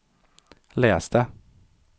itläs det